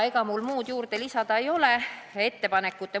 Ega mul muud lisada ei ole.